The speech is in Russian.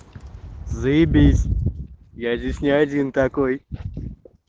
заебись я здесь не один такой